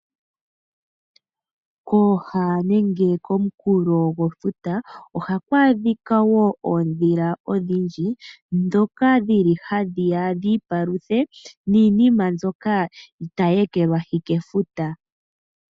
Kooha nenge komukulo gwefuta, ohaku adhika wo oodhila odhindji, dhoka dhili hadhiya dhi ipaluthe niinima mbyoka tayi ekelwahi kefuta.